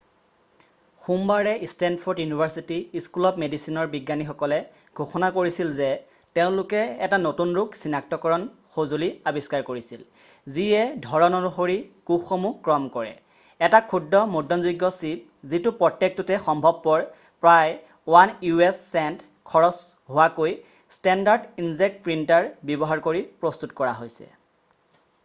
সোমবাৰে Stanford University School of মেডিচিনৰ বিজ্ঞানীসকলে ঘোষণা কৰিছিল যে তেওঁলোকে এটা নতুন ৰোগ চিনাক্তকৰণ সঁজুলি আৱিষ্কাৰ কৰিছিল যিয়ে ধৰণ অনুসৰি কোষসমূহ ক্ৰম কৰে এটা ক্ষুদ্ৰ মুদ্ৰণযোগ্য চিপ যিটো প্ৰত্যেকটোতে সম্ভৱপৰ প্ৰায় 1 u.s. চেণ্ট খৰচ হোৱাকৈ ষ্টেণ্ডাৰ্ড ইনজেক্ট প্ৰিণ্টাৰ ব্যৱহাৰ কৰি প্ৰস্তুত কৰা হৈছে